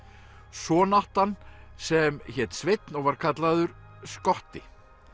son átti hann sem hét Sveinn og var kallaður skotti